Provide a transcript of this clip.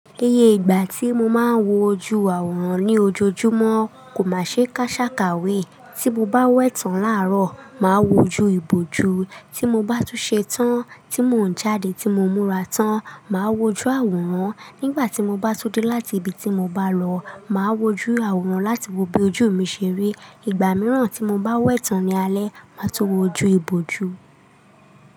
Iye ìgbà tí mo máa ń wojú àwòrán ní ojoojúmọ́ kò má ṣe ká ṣàkàwé. Tí mo bá wẹ̀tàn láàárọ̀, màá wojú ìbòjú. Tí mo bá tún ṣe tán tí mò ń jáde tí mo múra tán, màá wojú àwòrán. Nígbà tí mo bá tó dé láti ibi tí mo bá lọ, màá wojú àwòrán láti wo bí ojú mi ṣe rí. Ìgbà mìíràn tí mo bá wẹ̀tàn ní alẹ́, màá tó wojú ìbòjú.